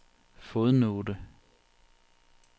fodnote